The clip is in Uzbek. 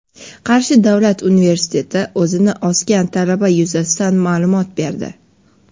Qarshi davlat universiteti o‘zini osgan talaba yuzasidan ma’lumot berdi.